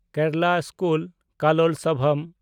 Kerala school Kalolsavam